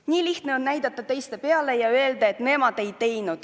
Nii lihtne on näidata teiste peale ja öelda, et nemad ei teinud.